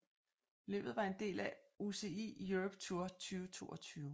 Løbet var en del af UCI Europe Tour 2022